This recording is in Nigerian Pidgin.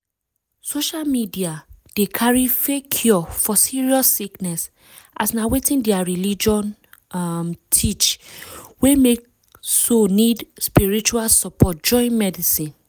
social media dey carry fake cure for serious sickness as na wetin their religion um teach wey make so nid spiritual support join medicine.